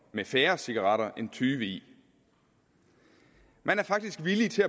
med færre cigaretter end tyve i man er faktisk villig til